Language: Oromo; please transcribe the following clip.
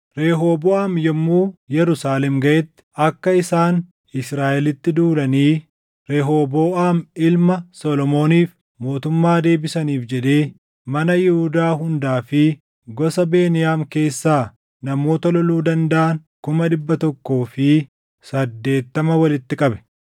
Rehooboʼaam yommuu Yerusaalem gaʼetti akka isaan Israaʼelitti duulanii Rehooboʼaam ilma Solomooniif mootummaa deebisaniif jedhee mana Yihuudaa hundaa fi gosa Beniyaam keessaa namoota loluu dandaʼan kuma dhibba tokkoo fi saddeettama walitti qabe.